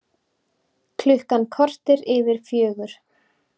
Klukkan korter yfir fjögur